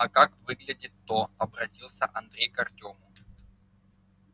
а как выглядит-то обратился андрей к артёму